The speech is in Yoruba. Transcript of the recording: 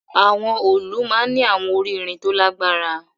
Awọn òòlù maa n ni awọn ori irin to lagbara